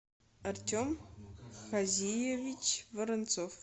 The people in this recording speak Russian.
артем хазиевич воронцов